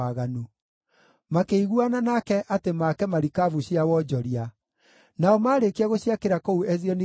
Makĩiguana nake atĩ maake marikabu cia wonjoria. Nao maarĩkia gũciakĩra kũu Ezioni-Geberi,